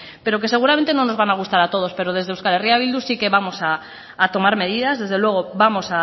pero que seguramente no nos van a gustar a todos pero desde euskal herria bildu sí que vamos a tomar medidas desde luego vamos